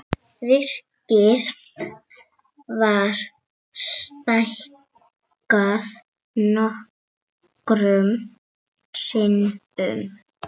Virkið var stækkað nokkrum sinnum.